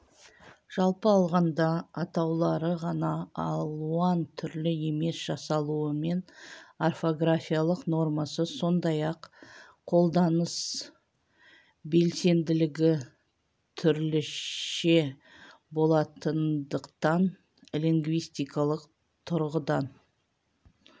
жалпы алғанда атаулары ғана алуан түрлі емес жасалуы мен орфографиялық нормасы сондай-ақ қолданыс белсенділігі түрліше болатындықтан лингвистикалық тұрғыдан